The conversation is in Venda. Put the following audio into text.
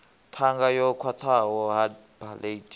ṱhanga yo khwaṱhaho hard palate